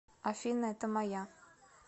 афина это моя